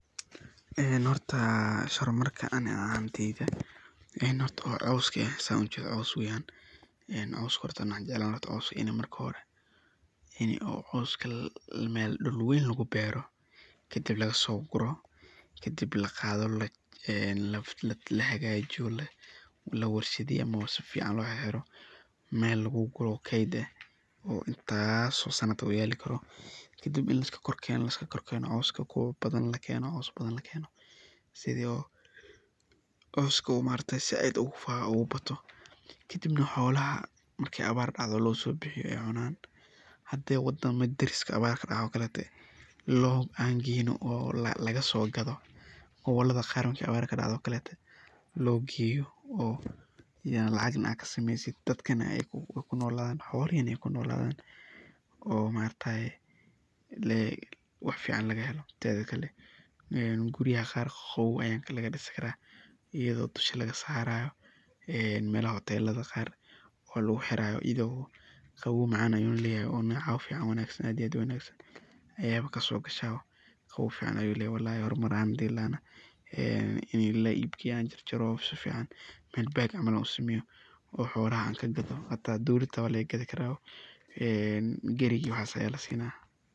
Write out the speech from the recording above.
Ee hoorta meshan hormarka Ina hoorta xooska xooska waxanjeclani ini oo xooska dull weyn lagu beeroh kadib laga sogoroh, kadib laqaatoh ee lahakajeeyoh, la warshdeeyoh sufican lo xeerxeroh, meel lagu koroh oo keeyt eeh midas oo intaas sano yaali karoh, kadib ini liskorkeenoh, marka xooska kuwa bathan lageenoh setho xooska maaragtay aad UGA bataoh kadibanh xoolaha marki abaar dactoh losobixiyoh oo cuunan handa wadamaha dariska awaar kadacan oo keleto lo keeyoh laga so kathoh gobolada Qaar marka abaar kadactoh, lo geeyoh oo lacagnah kasameeysit dad kana kunolathan xoolehi nah kunolathan oo maaragtay wax fican lagaheloh teethi Kali guuriyaha Qaar qawow aya laga disi karah, eyado dusha laga saarayo ee meelaha hootelada oo lagu xeerayo Qabow macan ayu leeyahay ayago kasogasho walalahi hormar ahaan ini la eeb keeyoh ini baag lo sobiyoh, waxuna kadaloh dowalada xata walaga kathi karah ee geerika waxasi lasinaya